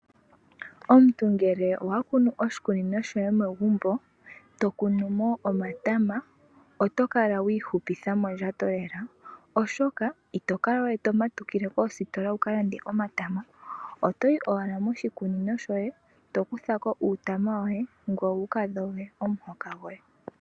Omuntu ngele owakunu oshikunino shoye megumbo, tokunumo omatama otokala wiihupitha mondjato lela oshoka itokalawe tomatukile koositola wukalande omatama. Otoyi owala moshikunino shoye tokutha uutama woye ngweye wukadhoge omuhoka goye.